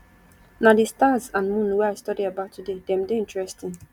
na the stars and moon wey i study about today dem dey interesting